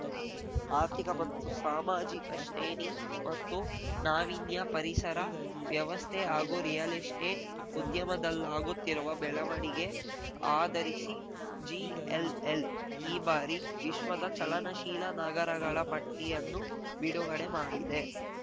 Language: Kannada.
ಆರ್ಥಿಕ ಮತ್ತು ಸಾಮಾಜಿಕ ಶ್ರೇಣಿ ಮತ್ತು ನಾವೀನ್ಯ ಪರಿಸರ ವ್ಯವಸ್ಥೆ ಹಾಗೂ ರಿಯಲ್‌ ಎಸ್ಟೇಟ್‌ ಉದ್ಯಮದಲ್ಲಾಗುತ್ತಿರುವ ಬೆಳವಣಿಗೆ ಆಧರಿಸಿ ಜೆಎಲ್‌ಎಲ್‌ ಈ ಬಾರಿ ವಿಶ್ವದ ಚಲನಶೀಲ ನಗರಗಳ ಪಟ್ಟಿಯನ್ನು ಬಿಡುಗಡೆ ಮಾಡಿದೆ